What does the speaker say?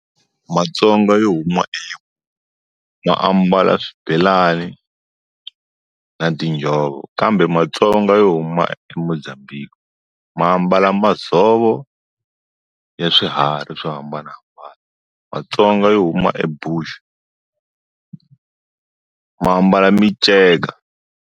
Matsonga yo huma e ma ambala swibelani, na tiinjhovo, kambe matsonga yo huma eMozambique ma ambala madzovo ya swiharhi swo hambana. Vatsonga yo huma eBushu ma ambala minceka.